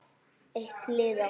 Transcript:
Eitt liða.